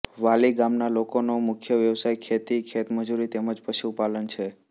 વાલી ગામના લોકોનો મુખ્ય વ્યવસાય ખેતી ખેતમજૂરી તેમ જ પશુપાલન છે